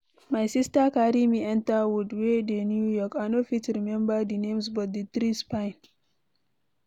My sister carry me enter woods wey dey New York,I no fit remember the names but the trees fine.